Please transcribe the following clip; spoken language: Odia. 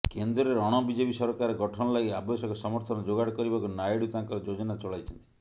କେନ୍ଦ୍ରରେ ଅଣ ବିଜେପି ସରକାର ଗଠନ ଲାଗି ଆବଶ୍ୟକ ସମର୍ଥନ ଯୋଗାଡ କରିବାକୁ ନାଇଡୁ ତାଙ୍କର ଯୋଜନା ଚଳାଇଛନ୍ତି